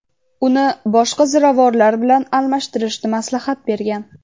uni boshqa ziravorlar bilan almashtirishni maslahat bergan.